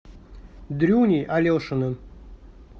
дрюней алешиным